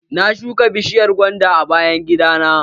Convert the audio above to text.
Na shuka bishiyar gwanda a bayan gida na.